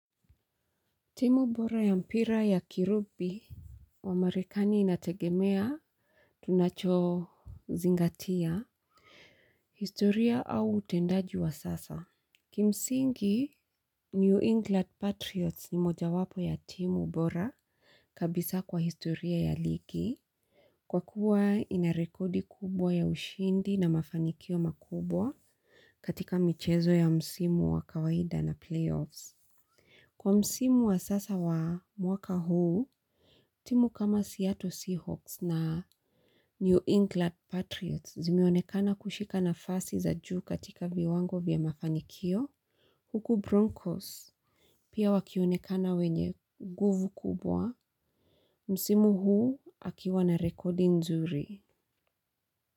Timu bora ya mpira ya kirugbi wa marekani inategemea tunacho zingatia historia au utendaji wa sasa. Kimsingi New England Patriots ni moja wapo ya timu bora kabisa kwa historia ya ligi. Kwa kuwa ina rekodi kubwa ya ushindi na mafanikio makubwa katika michezo ya msimu wa kawaida na playoffs. Kwa msimu wa sasa wa mwaka huu, timu kama Seattle Seahawks na New England Patriots zimeonekana kushika nafasi za juu katika viwango vya mafanikio, huku Broncos pia wakionekana wenye nguvu kubwa, msimu huu wakiwa na rekodi nzuri.